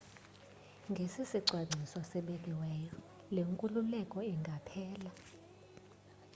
ngesisicwangciso sibekiweyo le nkululeko ingaphela